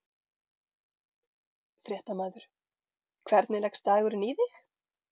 Fréttamaður: Hvernig leggst dagurinn í þig?